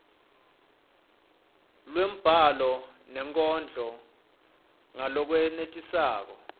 lwembhalo nenkondlo ngalokwenetisako